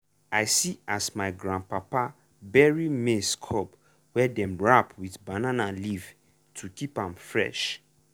i see as my grandpapa bury maize cob wey dem wrap with banana leaf to keep am fresh.